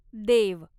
देव